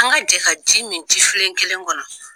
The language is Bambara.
An ka jɛ ka ji min jifilen kelen kɔnɔ.